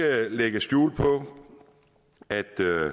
lægge skjul på at